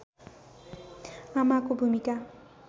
आमाको भूमिका